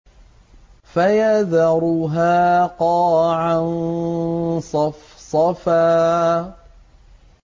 فَيَذَرُهَا قَاعًا صَفْصَفًا